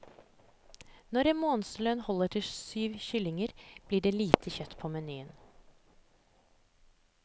Når en månedslønn holder til syv kyllinger, blir det lite kjøtt på menyen.